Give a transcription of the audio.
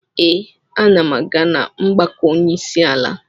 Ee, ana m aga na mgbakọ onyeisiala.